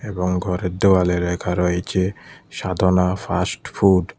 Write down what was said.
এবং ঘরের দেওয়ালে লেখা রয়েছে সাধনা ফাস্টফুড ।